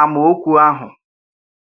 àmaọ̀kwú àhụ̀.